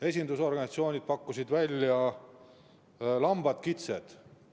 Esindusorganisatsioonid pakkusid välja lambad ja kitsed.